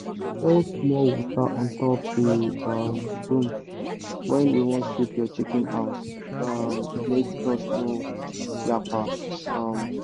pour small water untop the um broom when u wan sweep your chicken house um make dust no yakpa um